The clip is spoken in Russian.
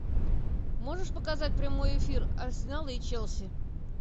можешь показать прямой эфир арсенала и челси